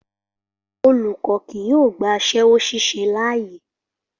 Olùkọ́ kì yóò gba aṣẹ́wó ṣíṣe láàyè